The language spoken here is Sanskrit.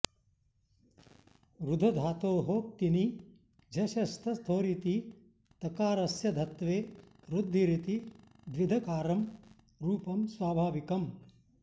ऋधधातोः क्तिनि झषस्तथोरिति तकारस्य धत्वे ऋद्धिरिति द्विधकारं रूपं स्वाभाविकम्